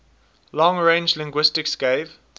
long range linguistics gave